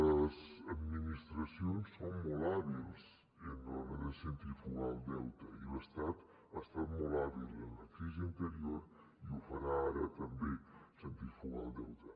les administracions són molt hàbils a l’hora de centrifugar el deute i l’estat ha estat molt hàbil en la crisi anterior i ho farà ara també centrifugar el deute